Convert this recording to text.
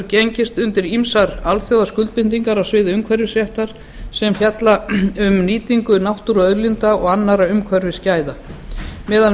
gengist undir ýmsar alþjóðaskuldbindingar á sviði umhverfisréttar sem fjalla um nýtingu náttúruauðlinda og annarra umhverfisgæða meðal